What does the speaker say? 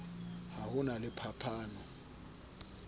ha ho na le phapano